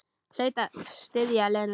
Hlaut því að styðja Lenu.